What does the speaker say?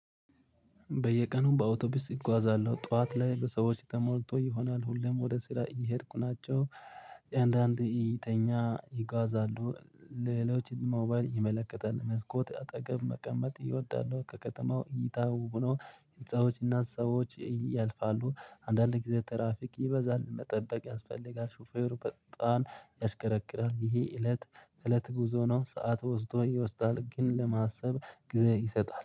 በየቀኑ በአውቶቢስ እጓዛለሁ ጠዋት ላይ በሰዎች ተሞልቶ ይሆናል ሁሌም ወደ ስራ እየሄድኩ ናቸው። አንዳንድ እይተኛ ይጓዛሉ ሌሎች ሞባይል ይመለከታል መስኮት አጠገብ መቀመጥ ኢወዳለሁ ከከተማው እይታ ውብ ነው። ሰዎች እና ሰዎች ያልፋሉ አንዳንድ ጊዜ ትራፊክ ይበዛል መጠበቅ ያስፈልጋል ሹፌሩ በጣን ያሽከረክራል ይሄ እለት ተእለት ጉዞ ነው። ሰዓት ወስዶ ይወስዳል ግን ለማሰብ ጊዜ ይሰጣል